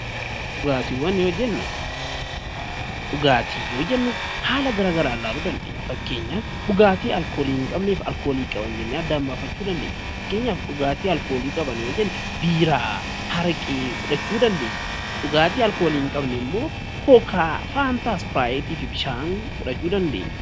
Dhugaatii yoo jennu haala gara garaan ilaaluu dandeenya kanas kan alkoolii qabanii fi hin qabne jennee addaan baafachuu dandeenya. Dhugaatii alkoolii qaban yoo jennu, biiraa fi araqee akka fakkeenyaatti fudhachuu dandeenya. Dhugaatii alkoolii hin qabne immoo dhugaatii lallaafaa fi bishaan fudhachuu ni dandeenya.